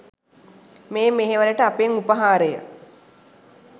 මේ මෙහෙවරට අපෙන් උපහාරය.